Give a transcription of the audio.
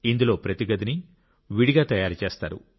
ఇందులో ప్రతి గదిని విడిగా తయారు చేస్తారు